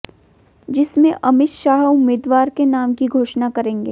जिसमें अमित शाह उम्मीदवार के नाम की घोषणा करेंगे